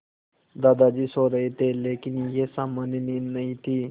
दादाजी सो रहे थे लेकिन यह सामान्य नींद नहीं थी